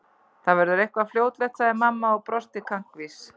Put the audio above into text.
Það verður eitthvað fljótlegt sagði mamma og brosti kankvís.